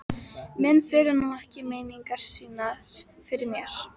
Menn fela nú ekki meiningar sínar fyrir mér.